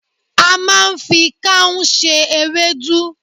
A máa ń fi káún se ewédú